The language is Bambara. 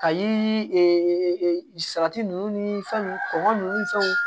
Ka yiri salati ninnu ni fɛn ninnu kɔngɔ nun ni fɛnw